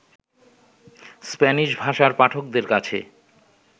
Spanish ভাষার পাঠকদের কাছে